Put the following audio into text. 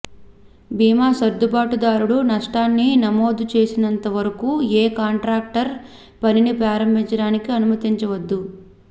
బీమా సర్దుబాటుదారుడు నష్టాన్ని నమోదు చేసినంతవరకు ఏ కాంట్రాక్టర్ పనిని ప్రారంభించడానికి అనుమతించవద్దు